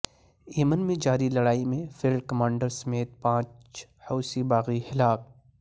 یمن میں جاری لڑائی میں فیلڈ کمانڈر سمیت پانچ حوثی باغی ہلاک